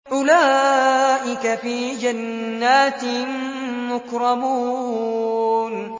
أُولَٰئِكَ فِي جَنَّاتٍ مُّكْرَمُونَ